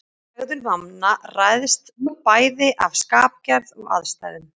Hegðun manna ræðst bæði af skapgerð og aðstæðum.